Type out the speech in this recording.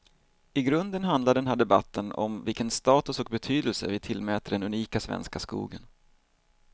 I grunden handlar den här debatten om vilken status och betydelse vi tillmäter den unika svenska skogen.